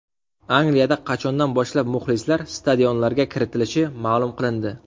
Angliyada qachondan boshlab muxlislar stadionlarga kiritilishi ma’lum qilindi.